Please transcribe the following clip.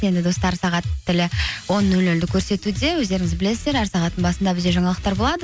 енді достар сағат тілі он нөл нөлді көрсетуде өздеріңіз білесіздер әр сағаттың басында бізде жаңалықтар болады